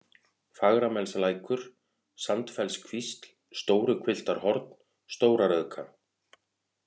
Fagramelslækur, Sandfellskvísl, Stóruhvilftarhorn, Stóra-Rauðka